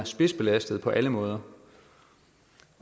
spidsbelastede på alle måder